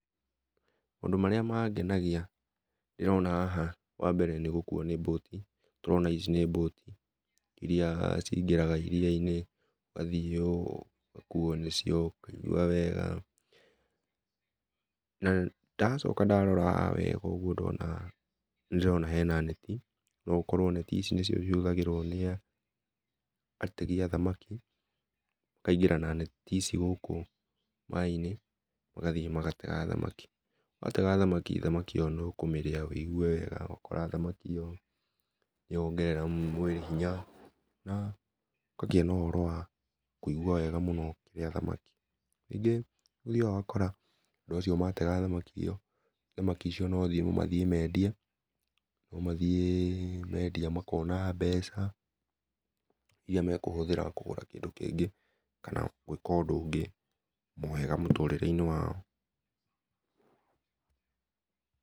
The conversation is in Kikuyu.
Maũndũ marĩa mangenagĩa ndĩraona haha wambere nĩ gũkũo nĩ bũtĩ, tũrona ici nĩ boti irĩa cingĩraga iria-inĩ ũgathiĩ ũgakũo nĩcio ũkaigũa wega na ndacoka ndarora haha ũgũ wega nĩ ndĩrona nĩndĩrona hena netĩ no ũkorwo netĩ ici nĩcio ĩhũthagĩrwo nĩ ategi a thamaki, makaĩngĩra na netĩ ici gũkũ maĩ inĩ magathiĩ magatega thamaki, matega thamaki thamaki ĩyo nĩ ũkũmĩrĩa wĩigũe wega ũgakora thamaki ĩyo nĩ yongerera mwĩlĩ hĩnya na ũkagĩa na ũhora wa kũigũa wega mũno ũkĩrĩa thamaki, rĩngĩ nĩ ũthiaga ũgakora andũ acio matega thamakĩ ĩyo thamakĩ icio no mathiĩ mendia no mathiĩ mendia makona mbeca irĩa mekũhũthĩra kũgũra kĩndũ kĩngĩ kana gũĩka ũndũ ũngĩ ,wega mũtũrĩre-inĩ wao.